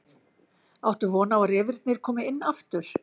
Áttu von á að refirnir komi inn aftur?